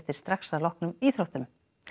strax að loknum íþróttum